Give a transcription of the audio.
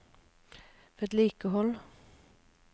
vedlikehold